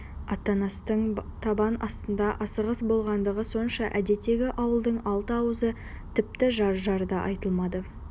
аттаныстың табан астында асығыс болғандығы сонша әдеттегі ауылдың алты ауызы тіпті жар-жар да айтылмады